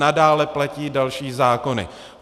Nadále platí další zákony.